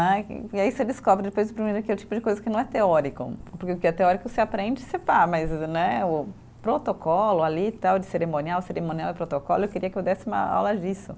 Né e e aí você descobre depois que o tipo de coisa que não é teórico, porque o que é teórico você aprende você dá, mas né o protocolo ali tal de cerimonial, cerimonial e protocolo, eu queria que eu desse uma aula disso.